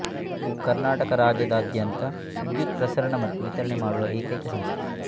ಇದು ಕರ್ನಾಟಕ ರಾಜ್ಯದಾದ್ಯಂತ ವಿದ್ಯುತ್ ಪ್ರಸರಣ ಮತ್ತು ವಿತರಣೆ ಮಾಡುವ ಏಕೈಕ ಸಂಸ್ಥೆ